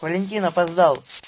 валентин опоздал